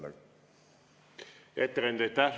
Hea ettekandja, aitäh!